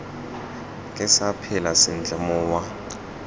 ke sa phela sentle mowa